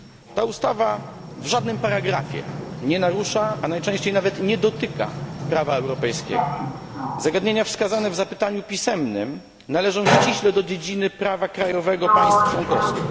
Ta ustawa w żadnym paragrafie nie narusza, a najczęściej nawet nie dotyka prawa europejskiego. Zagadnienia wskazane w zapytaniu pisemnym należą ściśle do dziedziny prawa krajowego państw członkowskich.